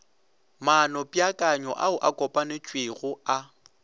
maanopeakanyo ao a kopanetšwego a